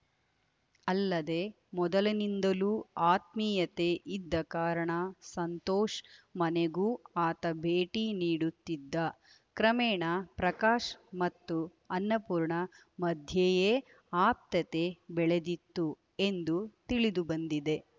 ಅಲ್ಲದೆ ಮೊದಲಿನಿಂದಲೂ ಆತ್ಮೀಯತೆ ಇದ್ದ ಕಾರಣ ಸಂತೋಷ್‌ ಮನೆಗೂ ಆತ ಭೇಟಿ ನೀಡುತ್ತಿದ್ದ ಕ್ರಮೇಣ ಪ್ರಕಾಶ್‌ ಮತ್ತು ಅನ್ನಪೂರ್ಣ ಮಧ್ಯೆಯೇ ಆಪ್ತತೆ ಬೆಳೆದಿತ್ತು ಎಂದು ತಿಳಿದು ಬಂದಿದೆ